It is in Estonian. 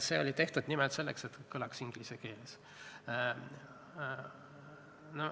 See oli tehtud nimelt selleks, et kõlaks hästi inglise keeles.